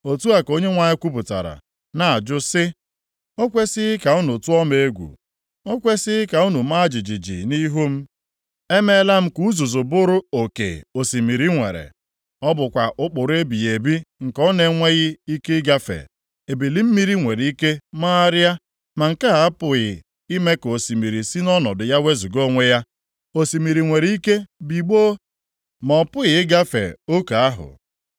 Otu a ka Onyenwe anyị kwupụtara, na-ajụ sị, o kwesighị ka unu tụọ m egwu?” “O kwesighị ka unu maa jijiji nʼihu m? Emeela m ka uzuzu bụrụ oke osimiri nwere. Ọ bụkwa ụkpụrụ ebighị ebi nke ọ na-enweghị ike ịgafe. Ebili mmiri nwere ike magharịa, ma nke a apụghị ime ka osimiri si nʼọnọdụ ya wezuga onwe ya. Osimiri nwere ike bigbọọ, ma ọ pụghị ịgafe oke ahụ.